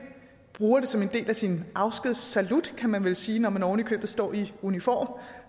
bruger det som en del af sin afskudssalut kan man vel sige når man ovenikøbet står i uniform